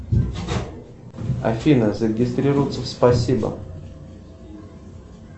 афина зарегистрироваться в спасибо